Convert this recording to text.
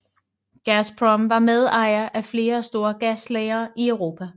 Gazprom var medejer af flere store gaslagre i Europa